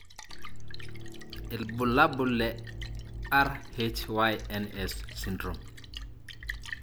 ilbulabul le RHYNS syndrome.